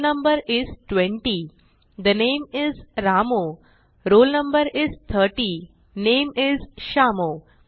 ठे roll no इस 20 ठे नामे इस रामू roll no इस 30 नामे इस श्यामू